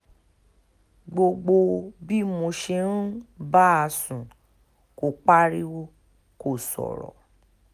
gbogbo bí mo sì ṣe ń bá a sùn kò pariwo kò sọ̀rọ̀